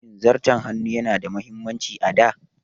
Shin Zarton hannu yana da mahimmanci a da?